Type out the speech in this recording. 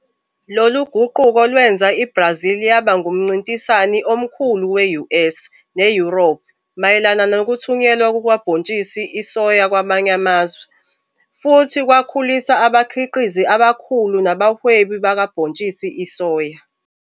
Loluguquko lwenza iBrazil yaba ngumncintisani omkhulu we-US ne-Yurophu mayelana nokuthunyelwa kukabhontshisi isoya kwamanye amazwe, futhi kwakhulisa abakhiqizi abakhulu nabahwebi bakabhotshisi isoya.